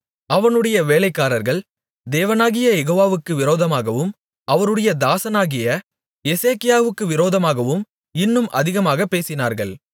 அவனுடைய வேலைக்காரர்கள் தேவனாகிய யெகோவாவுக்கு விரோதமாகவும் அவருடைய தாசனாகிய எசேக்கியாவுக்கு விரோதமாகவும் இன்னும் அதிகமாகப் பேசினார்கள்